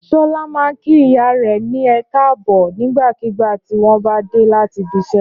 Ṣọlá máa ń kí ìyá rẹ̀ ní ẹ káàbọ̀ nígbàkigbà tí wọ́n bá dé láti ibiṣẹ́.